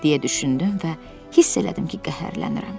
deyə düşündüm və hiss elədim ki, qəhərlənirəm.